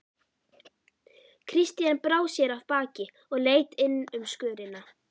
Christian brá sér af baki og leit inn um skörina.